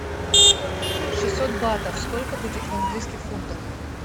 шестьсот батов сколько будет в английских фунтах